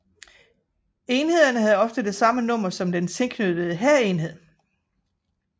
Enhederne havde ofte det samme nummer som den tilknyttede hærenhed